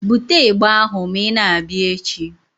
Bute ịgbà ahụ ma ị na-abịa echi!